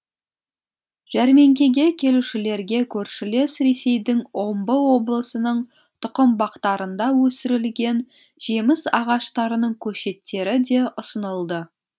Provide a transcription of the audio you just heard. жәрмеңкеге келушілерге көршілес ресейдің омбы облысының тұқымбақтарында өсірілген жеміс ағаштарының көшеттері де ұсынылды